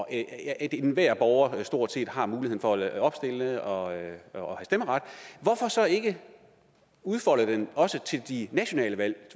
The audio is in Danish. at enhver borger stort set har muligheden for at opstille og have stemmeret hvorfor så ikke udfolde det også til de nationale valg